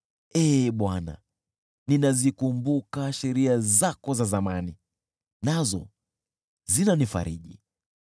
Ee Bwana , ninazikumbuka sheria zako za zamani, nazo zinanifariji.